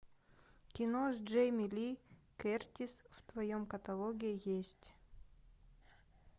кино с джейми ли кертис в твоем каталоге есть